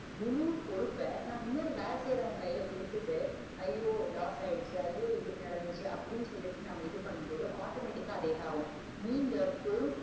முழு பொறுப்ப நா இன்னொரு வேல செய்யரவ கைல கொடுத்துட்டு ஐயோ lose ஆகிடுச்சே ஐயோ இப்படி நடந்துடிச்சே அப்டின்னு சொல்லி நாம இது பண்ணும் போது automatic ஆ அது இதாக்கும். நீங்க பொறுப்